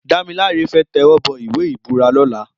Damilola fè tèwòbò iwé ibúrà lòlá